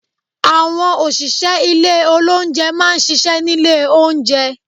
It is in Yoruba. Àwọn òṣìṣẹ́ ilé olóúnjẹ má a n ṣiṣẹ́ nílé oúnjẹ